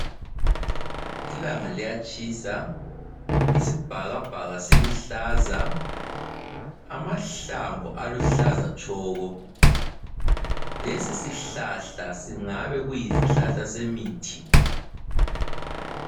Ilanga liyatshisa isibhakabhaka siluhlaza, amahlamvu laluhlaza tshoko. Lesisihlahla singabe kuyisihlahla semithi.